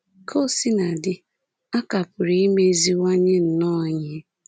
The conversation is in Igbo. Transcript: Ka o sina dị, a ka pụrụ imeziwanye nnọọ ihe